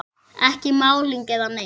Ekki málning eða neitt.